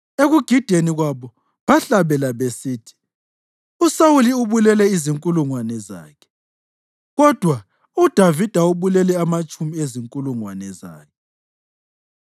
Ekugideni kwabo bahlabela besithi: “USawuli ubulele izinkulungwane zakhe, kodwa uDavida ubulele amatshumi ezinkulungwane zakhe.”